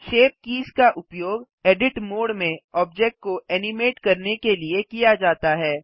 shape keys का उपयोग edit mode में ऑब्जेक्ट को एनिमेट करने के लिए किया जाता है